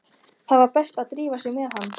Það var best að drífa sig með hann.